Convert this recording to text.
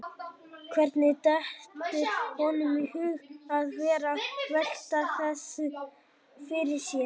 Hvernig dettur honum í hug að vera að velta þessu fyrir sér?